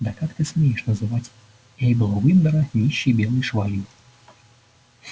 да как ты смеешь называть эйбла уиндера нищей белой швалью